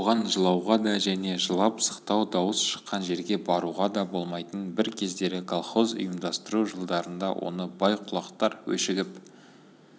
оған жылауға да және жылап-сықтау дауыс шыққан жерге баруға да болмайтын бір кездері колхоз ұйымдастыру жылдарында оны бай-құлақтар өшігіп